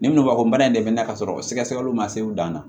Ni ngɔlɔbɛ ko bana in de bɛ na ka sɔrɔ sɛgɛsɛgɛliw ma se u dan na